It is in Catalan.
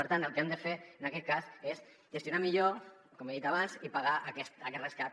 per tant el que hem de fer en aquest cas és gestionar millor com he dit abans i pagar aquest rescat